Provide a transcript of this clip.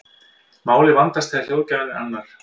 málið vandast þegar hljóðgjafinn er annar